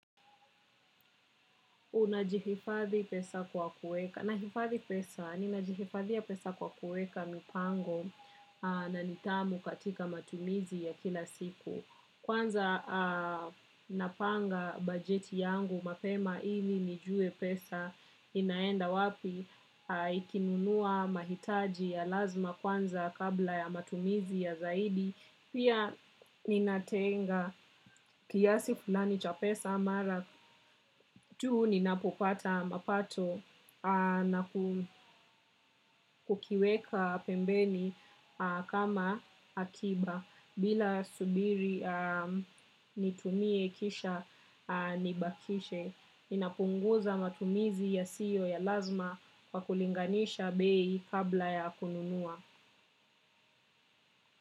Unajihifadhi pesa kwa kuweka, nahifadhi pesa, ninajihifadhia pesa kwa kuweka mipango na nidhamu katika matumizi ya kila siku. Kwanza napanga bajeti yangu mapema ili nijue pesa inaenda wapi ikinunua mahitaji ya lazima kwanza kabla ya matumizi ya zaidi. Pia ninatenga kiasi fulani cha pesa mara tu ninapopata mapato na kukiweka pembeni kama akiba bila subiri nitumie kisha nibakishe. Ninapunguza matumizi yasiyo ya lazima kwa kulinganisha bei kabla ya kununua.